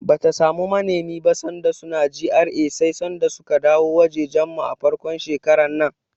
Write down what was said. Bata samu manemi ba sanda suna GRA sai sanda suka dawo wajejen mu, a farkon shekarar nan.